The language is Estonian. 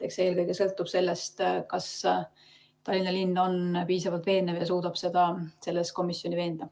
Eks see eelkõige sõltub sellest, kas Tallinna linn on piisavalt veenev ja suudab komisjoni veenda.